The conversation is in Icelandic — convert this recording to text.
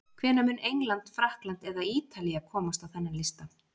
Hvenær mun England, Frakkland eða Ítalía komast á þennan lista?